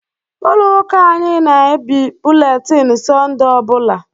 Ụlọ ụka anyị na-ebie bụletini Sọnde ọ bụla.